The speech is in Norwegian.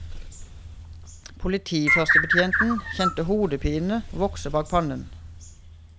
Politiførstebetjenten kjente hodepinen vokse bak panna.